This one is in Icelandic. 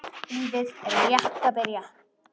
Lífið er rétt að byrja.